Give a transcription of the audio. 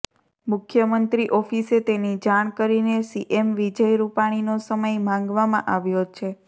મુખ્યમંત્રી ઓફિસે તેની જાણ કરીને સીએમ વિજય રૂપાણીનો સમય માંગવામાં આવ્યો છે